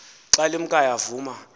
xa limkayo avuma